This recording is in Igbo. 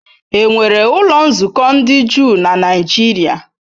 Enwere ụlọ nzukọ ndị Juu na Nigeria?